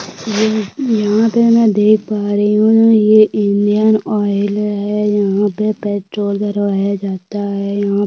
ये यहाँ पे में देख पा रही हुँ यह इंडियन ऑयल है यहाँ पे पेट्रोल भरवाया जाता है यहाँ --